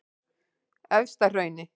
Efstahrauni